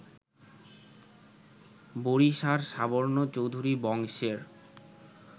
বড়িশার সাবর্ণ চৌধুরী বংশের